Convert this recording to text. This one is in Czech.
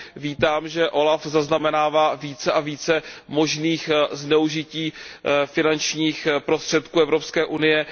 Vítám, že OLAF zaznamenává více a více možných zneužití finančních prostředků Evropské unie.